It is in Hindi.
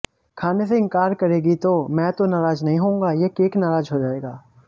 खाने से इंकार करेंगी तो मैं तो नाराज नहीं होऊंगा ये केक नाराज हो जायेगा